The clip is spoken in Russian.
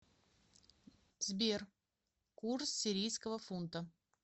сбер курс сирийского фунта